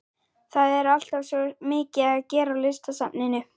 Það er alltaf svo mikið að gera á Listasafninu.